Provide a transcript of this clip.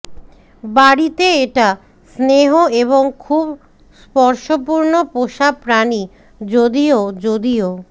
বাড়িতে এটা স্নেহ এবং খুব স্পর্শপূর্ণ পোষা প্রাণী যদিও যদিও